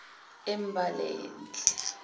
embalenhle